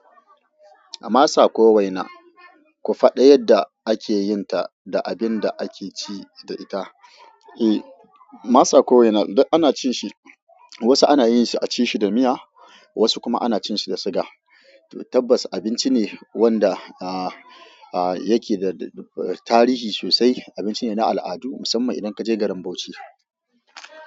Masa ko waina, ku faɗa yadda ake yin ta da abin da ake ci da ita. E, masa ko waina duk ana cin shi. Wasu ana yin shi a ci shi da miya, wasu kuma ana cin shi da siga. Tabbas, abinci ne wanda a, a yake da tarihi sosai. Abinci ne na al'adu musamman idan ka je garin Bauchi.